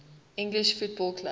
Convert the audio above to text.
english football clubs